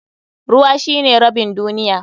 Ruwa shine rabin duniya.